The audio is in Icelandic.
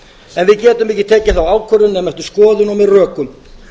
en við getum ekki tekið þá ákvörðun nema eftir skoðun og með rökum